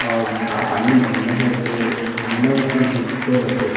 और सामने में आइना हे तो आइना के जो ऊपर रथे।